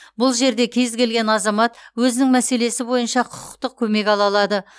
бұл жерде кез келген азамат өзінің мәселесі бойынша құқықтық көмек ала алады